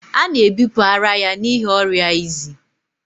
A na-ebipụ ara ya n'ihi ọrịa izi